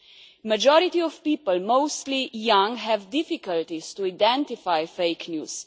The majority of people, mostly young, have difficulty in identifying fake news.